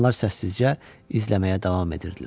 Onlar səssizcə izləməyə davam edirdilər.